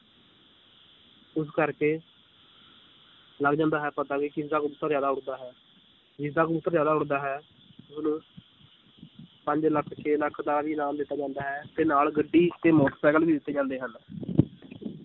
ਇਸ ਕਰਕੇ ਲੱਗ ਜਾਂਦਾ ਹੈ ਪਤਾ ਵੀ ਕਿਸਦਾ ਕਬੂਤਰ ਜ਼ਿਆਦਾ ਉੱਡਦਾ ਹੈ, ਜਿਸਦਾ ਕਬੂਤਰ ਜ਼ਿਆਦਾ ਉੱਡਦਾ ਹੈ ਉਹਨੂੰ ਪੰਜ ਲੱਖ ਛੇ ਲੱਖ ਦਾ ਵੀ ਇਨਾਮ ਦਿੱਤਾ ਜਾਂਦਾ ਹੈ ਤੇ ਨਾਲ ਗੱਡੀ ਤੇ ਮੋਟਰ ਸਾਈਕਲ ਵੀ ਦਿੱਤੇ ਜਾਂਦੇ ਹਨ